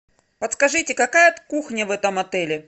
подскажите какая кухня в этом отеле